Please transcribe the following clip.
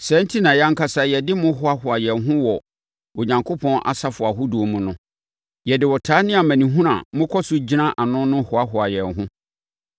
Saa enti na yɛn ankasa yɛde mo hoahoa yɛn ho wɔ Onyankopɔn asafo ahodoɔ mu no. Yɛde ɔtaa ne amanehunu a mokɔ so gyina ano no hoahoa yɛn ho.